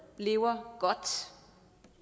lever godt